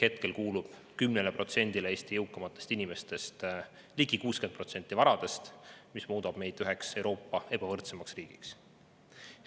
Hetkel kuulub 10%‑le Eesti jõukaimatest inimestest ligi 60% varadest ja see muudab meid üheks Euroopa suurima ebavõrdsusega riigiks.